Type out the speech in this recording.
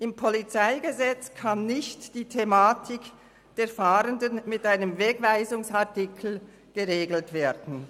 Im PolG kann nicht die Thematik der Fahrenden mit einem Wegweisungsartikel geregelt werden.